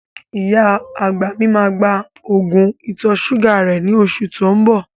Ìyá àgbà mi máa gba Ògùn ìtọ̀-ṣúgà rẹ ní oṣù tó ń bọ